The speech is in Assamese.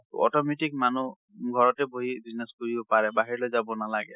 টো automatic মানুহ ঘৰতে বহি business কৰিব পাৰে বাহিৰলৈ যাব নালাগে।